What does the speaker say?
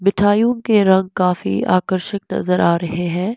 मिठाइयों के रंग काफी आकर्षक नजर आ रहे हैं।